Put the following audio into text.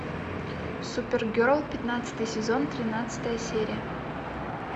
супергерл пятнадцатый сезон тринадцатая серия